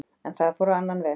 En það fór á annan veg.